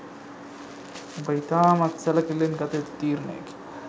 ඔබ ඉතාමත් සැලකිල්ලෙන් ගත යුතු තීරණයකි.